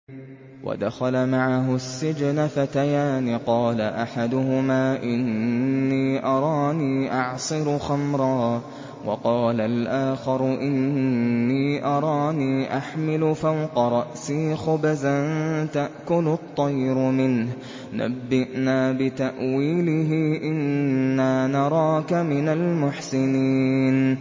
وَدَخَلَ مَعَهُ السِّجْنَ فَتَيَانِ ۖ قَالَ أَحَدُهُمَا إِنِّي أَرَانِي أَعْصِرُ خَمْرًا ۖ وَقَالَ الْآخَرُ إِنِّي أَرَانِي أَحْمِلُ فَوْقَ رَأْسِي خُبْزًا تَأْكُلُ الطَّيْرُ مِنْهُ ۖ نَبِّئْنَا بِتَأْوِيلِهِ ۖ إِنَّا نَرَاكَ مِنَ الْمُحْسِنِينَ